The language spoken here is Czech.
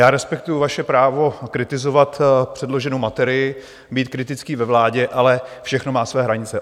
Já respektuji vaše právo kritizovat předloženou materii, být kritický ve vládě, ale všechno má své hranice.